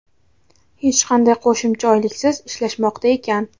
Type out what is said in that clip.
hech qanday qo‘shimcha oyliksiz ishlashmoqda ekan.